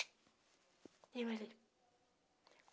E eu ali.